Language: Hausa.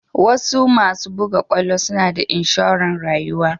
wasuasu buga kwallo suna da inshoren rayuwa.